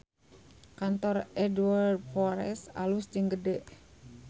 Kantor Edward Forrer alus jeung gede